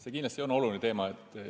See on kindlasti oluline teema.